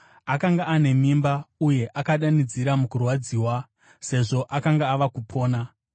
Akanga ane mimba uye akadanidzira mukurwadziwa sezvo akanga ava kupona.